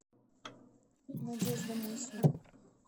надежда мосина